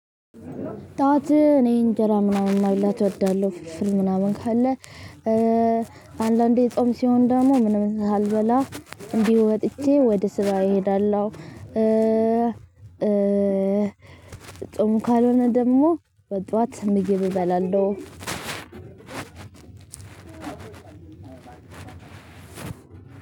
ጣት እኔ እንጀራ ምናምን መብላት አደርጋለሁ ፍርፍር ምናምን ካለ። አንዳንዴ ጾም ሲሆን ደሞ ምንም ሳልበላ እዲሁ ወጥቼ ወደ ስራ እሄዳለሁ። ጾም ካልሆነ ደሞ በጧት ምግብ እበላለሁ።